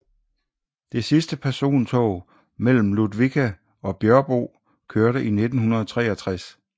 Det sidste persontog mellem Ludvika og Björbo kørte i 1963